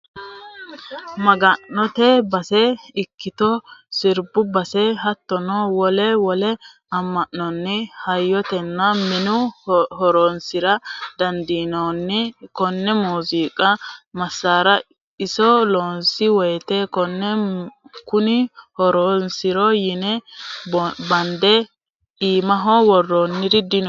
Maga'note base ikkitto sirbu base hattono wole wole ama'nonni hayatano manni horonsira dandaano kone muziiqu masara iso loonsi woyte kone kuni horonsiro yine bande iimaho woronniri dino.